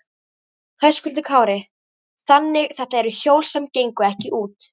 Höskuldur Kári: Þannig þetta eru hjól sem gengu ekki út?